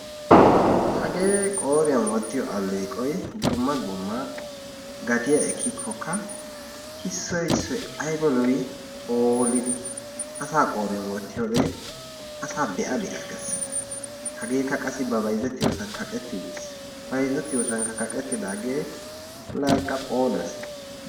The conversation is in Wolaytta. Hagee wooriyan wottiyo alleeqoy dumma dumma gatiya ekkika issoy issoy ayiba lo'i? phoolidi asaa wooriyan wottiyode asaa be'a be'a ges. Hageeka qassi ba bayizettiyoosan kaqetti uttis. Bayizettiyoosankka kaqettidaage laa eqqa phooles